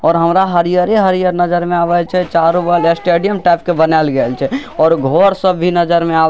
और हमरा हरियर हरियर नज़र में आवे छै चारो बगल स्टेडियम टाइप के बनाल गैल छै और घर सब भी नज़र में आवे --